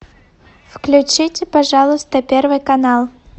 включите пожалуйста первый канал